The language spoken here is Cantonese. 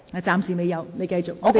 暫時未有，請你繼續發言。